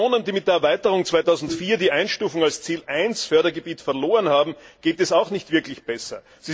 Regionen, die mit der Erweiterung 2004 die Einstufung als Ziel I Fördergebiet verloren haben, geht es auch nicht wirklich besser.